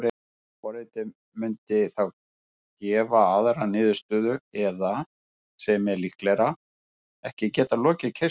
Forritið mundi þá gefa aðra niðurstöðu eða, sem er líklegra, ekki geta lokið keyrslu.